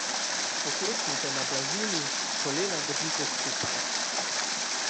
Pokleknite na blazini, kolena držite skupaj.